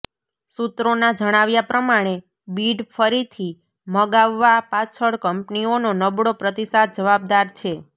સૂત્રોના જણાવ્યા પ્રમાણે બિડ ફરીથી મગાવવા પાછળ કંપનીઓનો નબળો પ્રતિસાદ જવાબદાર છે